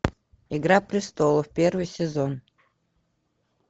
игра престолов первый сезон